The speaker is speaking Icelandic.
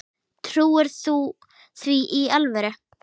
Trúir þú því í alvöru?